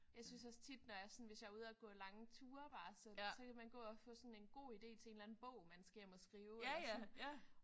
Jeg synes også tit når jeg sådan hvis jeg er ude og gå lange ture bare sådan så kan man gå og få sådan en god idé til en en eller anden bog man skal hjem og skrive eller sådan